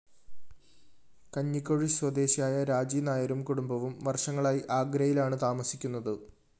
കഞ്ഞിക്കുഴി സ്വദേശിയായ രാജി നായരും കുടുംബവും വര്‍ഷങ്ങളായി ആഗ്രയിലാണ്‌ താമസിക്കുന്നത്‌